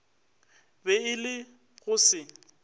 be e le go se